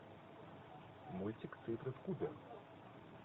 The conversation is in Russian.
мультик цифры в кубе